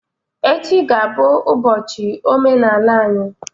Echi ga-abụ ụbọchi omenaala anyị